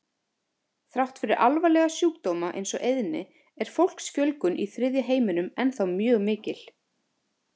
Þrátt fyrir alvarlega sjúkdóma eins og eyðni er fólksfjölgun í þriðja heiminum ennþá mjög mikil.